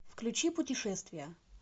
включи путешествия